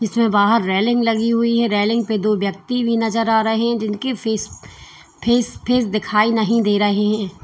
इसमें बाहर रेलिंग लगी हुई है रेलिंग पे दो व्यक्ति भी नजर आ रहे हैं जिनकी फीस फेस फेस दिखाई नहीं दे रहे हैं।